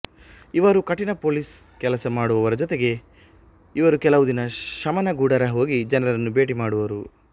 ಇವರು ಕಠಿಣ ಪೊಲೀಸ್ ಕೆಲಸ ಮಾಡುವರ ಜೊತೆಗೆ ಇವರು ಕೆಳವು ದಿನ ಶಮನ ಗುಡಾರ ಹೋಗಿ ಜನರನ್ನು ಭೇಟಿ ಮಾಡುವರು